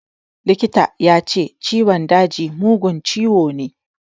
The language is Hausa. Likita ya ce ciwon daji mugun ciwo ne.